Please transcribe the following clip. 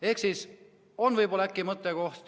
Ehk siis: äkki see ikkagi on mõttekoht.